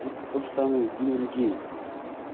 вот тоже самое и с биллом гейтсом